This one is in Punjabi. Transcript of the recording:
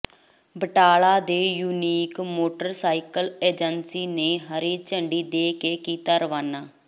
ਬਟਾਲਾ ਦੇ ਯੂਨੀਕ ਮੋਟਰਸਾਈਕਲ ਏਜੰਸੀ ਨੇ ਹਰੀ ਝੰਡੀ ਦੇ ਕੇ ਕੀਤਾ ਰਵਾਨਾ